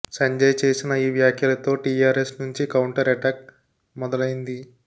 సంజయ్ చేసిన ఈ వ్యాఖ్యలతో టీఆర్ఎస్ నుంచి కౌంటర్ ఎటాక్ మొదలైంది